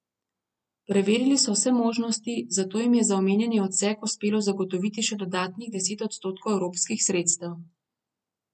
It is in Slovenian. Preverili so vse možnosti, zato jim je za omenjeni odsek uspelo zagotoviti še dodatnih deset odstotkov evropskih sredstev.